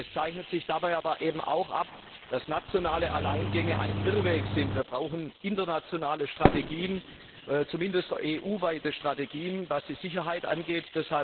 Es zeichnet sich dabei aber auch ab, dass nationale Alleingänge ein Irrweg sind. Wir brauchen internationale Strategien, zumindest EU weite Strategien, was die Sicherheit angeht.